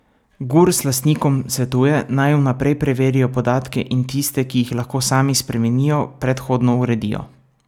Gurs lastnikom svetuje, naj vnaprej preverijo podatke in tiste, ki jih lahko sami spremenijo, predhodno uredijo.